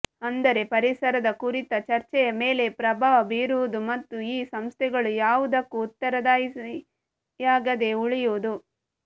ಅಂದರೆ ಪರಿಸರದ ಕುರಿತ ಚರ್ಚೆಯ ಮೇಲೆ ಪ್ರಭಾವ ಬೀರುವುದು ಮತ್ತು ಈ ಸಂಸ್ಥೆಗಳು ಯಾವುದಕ್ಕೂ ಉತ್ತರದಾಯಿಯಾಗದೇ ಉಳಿಯುವುದು